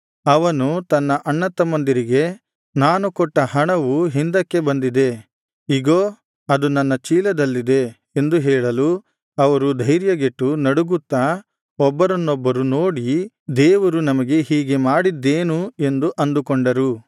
ಅವನು ತನ್ನ ಅಣ್ಣತಮ್ಮಂದಿರಿಗೆ ನಾನು ಕೊಟ್ಟ ಹಣವು ಹಿಂದಕ್ಕೆ ಬಂದಿದೆ ಇಗೋ ಅದು ನನ್ನ ಚೀಲದಲ್ಲಿದೆ ಎಂದು ಹೇಳಲು ಅವರು ಧೈರ್ಯಗೆಟ್ಟು ನಡುಗುತ್ತಾ ಒಬ್ಬರನ್ನೊಬ್ಬರು ನೋಡಿ ದೇವರು ನಮಗೆ ಹೀಗೆ ಮಾಡಿದ್ದೇನು ಎಂದು ಅಂದುಕೊಂಡರು